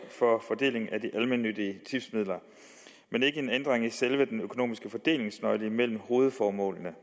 fordeling af de almennyttige tipsmidler men ikke en ændring i selve den økonomiske fordelingsnøgle mellem hovedformålene